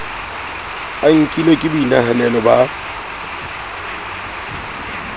a nkilwe ka boinahanelo ba